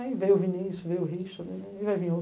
Aí veio o Vinícius, veio o Richard e vai vir